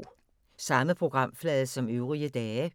Samme programflade som øvrige dage